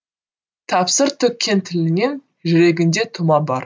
тәпсір төккен тілінен жүрегінде тұма бар